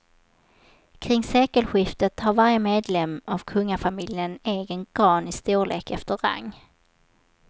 Kring sekelskiftet hade varje medlem av kungafamiljen en egen gran i storlek efter rang.